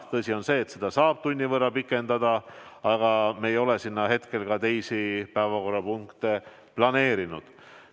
Tõsi on, et seda saab tunni võrra pikendada ja me ei ole sinna seekord teisi päevakorrapunkte planeerinud.